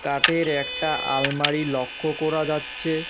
কাঠের একটা আলমারি লক্ষ্য করা যাচ্ছে।